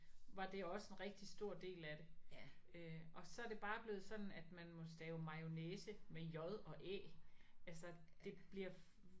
Var det også en rigtig stor del af det øh og så er det bare blevet sådan at man må stave mayonnaise med j og æ altså det bliver